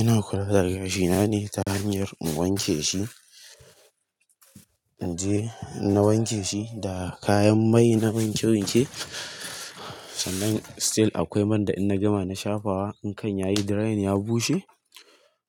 Ina kula da gashi na ne ta hanyar in wanke shi, na wanke shi da kayan mai na wanke wanke, sannan still akwai man da in na gama na shafa wa, in kan yayi drying ya bushe